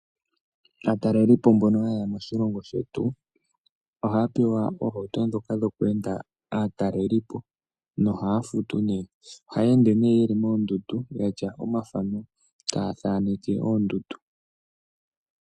Aatalelipo mbono haye ya moshilongo shetu ohaya pewa oohauto ndhoka dhokweenda aatalelipo nohaya futu nee. Ohaya ende nee yeli moondundu yatya omafano taya thaaneke oondundu.